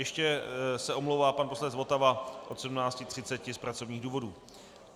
Ještě se omlouvá pan poslanec Votava od 17.30 z pracovních důvodů.